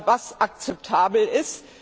was akzeptabel ist.